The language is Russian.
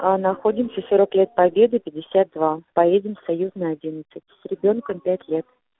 а находимся сорок лет победы пятьдесят два поедем союзная одиннадцать с ребёнком пять лет